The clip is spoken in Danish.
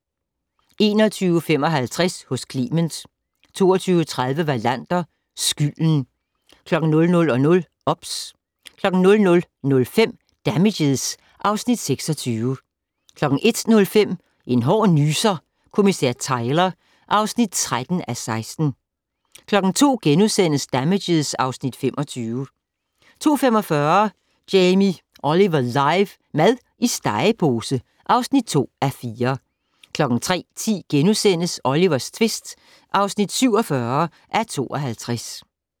21:55: Hos Clement 22:30: Wallander: Skylden 00:00: OBS 00:05: Damages (Afs. 26) 01:05: En hård nyser: Kommissær Tyler (13:16) 02:00: Damages (Afs. 25)* 02:45: Jamie Olive live - mad i stegepose (2:4) 03:10: Olivers tvist (47:52)*